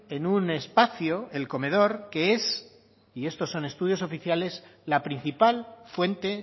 en un espacio el comedor que es y estos son estudios oficiales la principal fuente